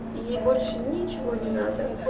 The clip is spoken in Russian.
и ей больше ничего не надо